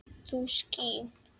þú skín